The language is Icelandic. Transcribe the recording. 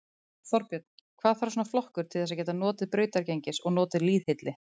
Þorbjörn: Hvað þarf svona flokkur til þess að geta notið brautargengis og notið lýðhylli?